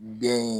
Den in